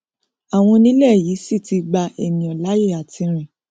àwọn onílẹ yìí sì ti gba ènìà láàyè àti rìn